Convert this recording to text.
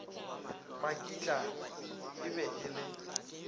makitla e be e le